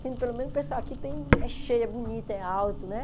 Pelo menos o pessoal aqui tem é cheio, é bonito, é alto, né?